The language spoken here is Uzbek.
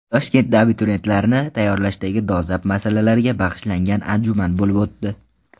Toshkentda abituriyentlarni tayyorlashdagi dolzarb masalalarga bag‘ishlangan anjuman bo‘lib o‘tdi.